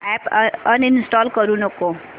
app uninstall करू नको